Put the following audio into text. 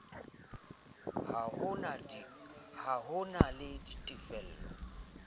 ha ho na le tefelo